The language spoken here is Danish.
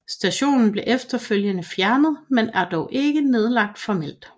Stationen blev efterfølgende fjernet men er dog ikke nedlagt formelt